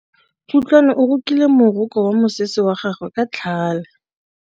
Kutlwanô o rokile morokô wa mosese wa gagwe ka tlhale.